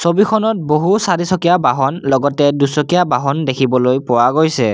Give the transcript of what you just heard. ছবিখনত বহু চাৰিচকীয়া বাহন লগতে দুচকীয়া বাহন দেখিবলৈ পোৱা গৈছে।